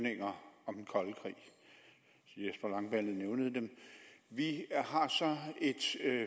herre jesper langballe nævnte dem vi har så en